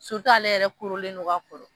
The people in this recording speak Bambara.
ale yɛrɛ korolen don ka kɔrɔ